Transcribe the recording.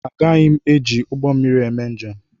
Agaghị m eji ụgbọ mmiri eme njem.